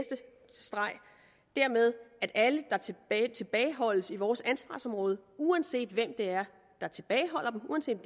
dermed at alle der tilbageholdes i vores ansvarsområde uanset hvem der tilbageholder dem uanset